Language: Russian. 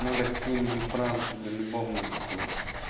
надо какую-нибудь фразу тебе любовную такую